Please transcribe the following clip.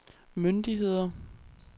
myndigheder